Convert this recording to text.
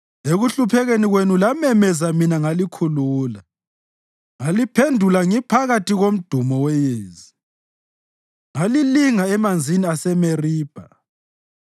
Ekuhluphekeni kwenu lamemeza mina ngalikhulula. Ngaliphendula ngiphakathi komdumo weyezi; ngalilinga emanzini aseMeribha.